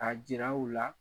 A jira u la